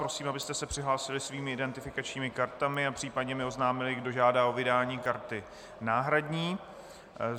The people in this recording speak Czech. Prosím, abyste se přihlásili svými identifikačními kartami a případně mi oznámili, kdo žádá o vydání karty náhradní.